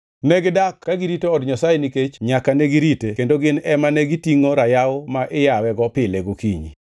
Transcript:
Negidak ka girito Od Nyasaye nikech nyaka negirite; kendo gin ema negitingʼo rayaw ma iyawego pile gokinyi.